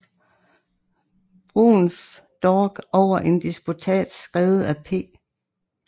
Bruns dog over en disputats skrevet af P